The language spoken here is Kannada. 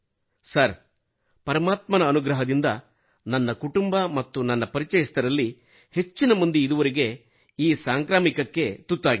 ಸರ್ ಪರಮಾತ್ಮನ ಅನುಗ್ರಹದಿಂದ ನನ್ನ ಕುಟುಂಬ ಮತ್ತು ನನ್ನ ಪರಿಚಯಸ್ಥರಲ್ಲಿ ಹೆಚ್ಚಿನ ಮಂದಿ ಇದುವರೆಗೂ ಈ ಸಾಂಕ್ರಾಮಿಕಕ್ಕೆ ತುತ್ತಾಗಿಲ್ಲ